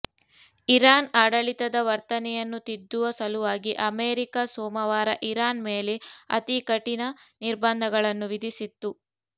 Iran ಆಡಳಿತದ ವರ್ತನೆಯನ್ನು ತಿದ್ದುವ ಸಲುವಾಗಿ ಅಮೆರಿಕ ಸೋಮವಾರ ಇರಾನ್ ಮೇಲೆ ಅತೀ ಕಠಿನ ನಿರ್ಬಂಧಗಳನ್ನು ವಿಧಿಸಿತ್ತು